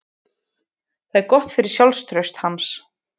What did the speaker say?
Það er gott fyrir sjálfstraust hans.